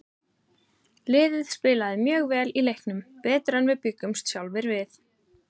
Liðið spilaði mjög vel í leiknum, betur en við bjuggumst sjálfir við.